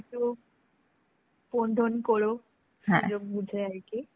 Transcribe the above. একটু phone tone করো সুযোগ বুঝে আরকি.